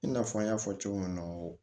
I n'a fɔ an y'a fɔ cogo min na